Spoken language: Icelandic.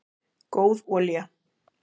góð olía